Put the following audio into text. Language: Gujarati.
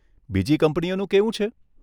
બીજી કંપનીઓનું કેવું છે?